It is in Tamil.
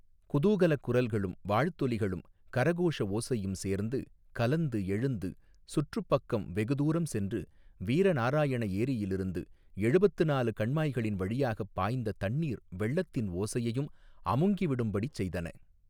குதூகலக் குரல்களும் வாழ்த்தொலிகளும் கரகோஷ ஓசையும் சேர்ந்து கலந்து எழுந்து சுற்றுப் பக்கம் வெகு தூரம் சென்று வீர நாராயண ஏரியிலிருந்து எழுபத்து நாலு கண்மாய்களின் வழியாகப் பாய்ந்த தண்ணீர் வெள்ளத்தின் ஓசையையும் அமுங்கி விடும்படி செய்தன.